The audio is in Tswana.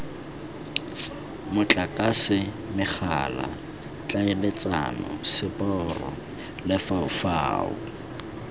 motlakase megala tlhaeletsano seporo lefaufau